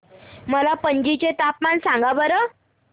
मला पणजी चे तापमान सांगा बरं